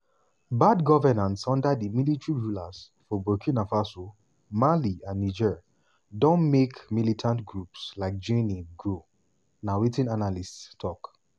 bad governance under di military rulers for burkina faso mali and niger don make militant groups like jnim grow na wetin analysts tok.